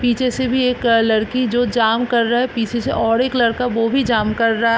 पीछे से भी एक लड़की जो जाम्प कर रही है पीछे से और एक लड़का वो भी जाम्प कर रहा --